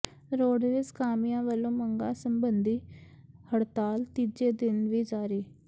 roadways ਕਾਮਿਆਂ ਵੱਲੋਂ ਮੰਗਾਂ ਸਬੰਧੀ ਹੜਤਾਲ ਤੀਜੇ ਦਿਨ ਵੀ ਜਾਰੀ